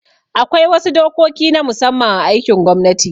Akwai wasu dokoki na musamman a aikin gwamnati